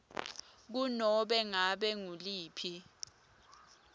kunobe ngabe nguliphi